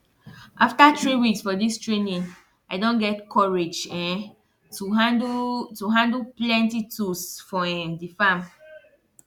after three weeks for dis training i don get courage um to handle to handle plenty tools for um di farm